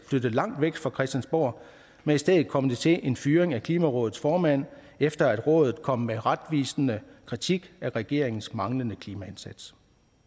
flytte langt væk fra christiansborg men i stedet kom det til en fyring af klimarådets formand efter at rådet kom med retvisende kritik af regeringens manglende klimaindsats